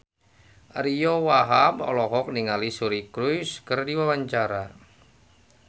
Ariyo Wahab olohok ningali Suri Cruise keur diwawancara